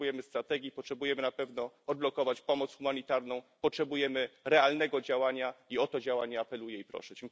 Potrzebujemy strategii, potrzebujemy na pewno odblokować pomoc humanitarną, potrzebujemy realnego działania, i o to działanie apeluję i proszę.